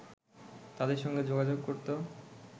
তাদের সঙ্গে যোগাযোগ করত